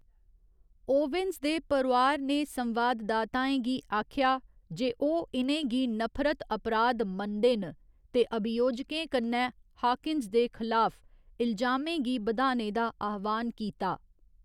Owens दे परोआर ने संवाददाताएं गी आखेआ जे ओह्‌‌ इ'नें गी नफरत अपराध मनदे न ते अभियोजकें कन्नै हाकिन्स दे खलाफ इलजामें गी बधाने दा आह्‌वान कीता।